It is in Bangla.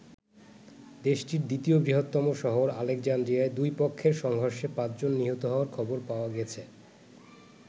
দেশটির দ্বিতীয় বৃহত্তম শহর আলেকজান্দ্রিয়ায় দুই পক্ষের সংঘর্ষে পাঁচজন নিহত হওয়ার খবর পাওয়া গেছে।